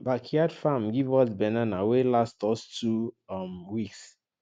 backyard farm give us banana wey last us two um weeks